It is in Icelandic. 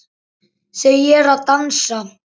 Þau eru að dansa